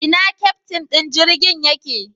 Ina keftin din jirgin yake?